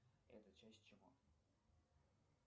это часть чего